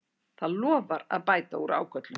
Það lofar að bæta úr ágöllum